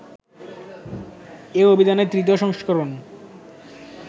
এ অভিধানের ৩য় সংস্করণ